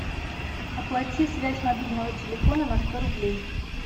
оплати связь мобильного телефона на сто рублей